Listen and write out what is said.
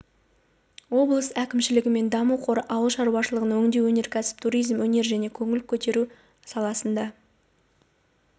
облыс әкімшілігі мен даму қоры ауыл шаруашылығы өңдеу өнеркәсібі туризм өнер және көңіл көтеру саласында